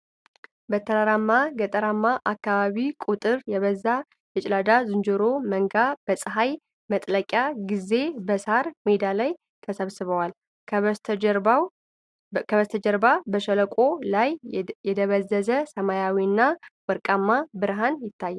በተራራማ ገጠራማ አካባቢ፣ ቁጥር የበዛ የጭላዳ ዝንጀሮ መንጋ በፀሐይ መጥለቂያ ጊዜ በሣር ሜዳ ላይ ተሰብስቧል። ከበስተጀርባ፣ በሸለቆው ላይ የደበዘዘ ሰማያዊና ወርቃማ ብርሃን ይታያል።